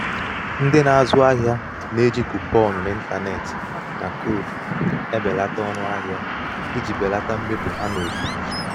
ndị na-azụ na-azụ ahịa na-eji kuponụ n'ịntanetị na koodu ebelata ọnụ ahịa iji belata mmefu ha n'ozuzu